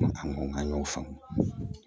An ko n k'an y'o faamu